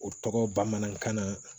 O tɔgɔ bamanankan na